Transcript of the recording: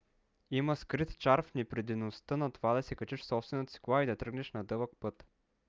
има скрит чар в непринудеността на това да се качиш в собствената си кола и да тръгнеш на дълъг път